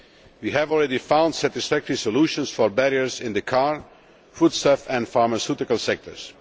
We have already found satisfactory solutions for barriers in the car, foodstuff and pharmaceutical sectors.